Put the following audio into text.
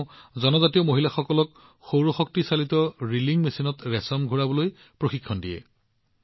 তেওঁ জনজাতীয় মহিলাসকলক সৌৰশক্তিচালিত ৰিলিং মেচিনত ৰেচম ঘূৰাবলৈ প্ৰশিক্ষণ দিয়ে